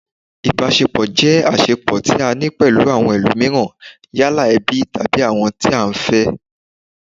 Ìbáṣepọ̀ jẹ́ àṣẹpọ̀ tí a ní pẹ̀lú àwọn ẹlómííràn, yálà ẹbí, tàbí àwọn tí à ń fẹ́